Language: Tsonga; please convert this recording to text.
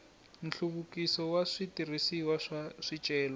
nhluvukiso wa switirhisiwa swa swicelwa